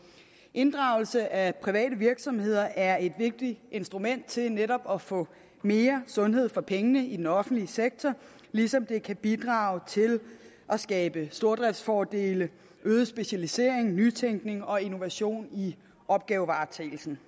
inddragelse af private virksomheder er et vigtigt instrument til netop at få mere sundhed for pengene i den offentlige sektor ligesom det kan bidrage til at skabe stordriftsfordele øget specialisering nytænkning og innovation i opgavevaretagelsen